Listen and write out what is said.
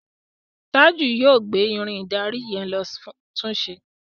Taju yóò gbé Irin ìdarí yen ló tunṣe.